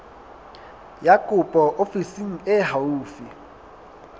ya kopo ofising e haufi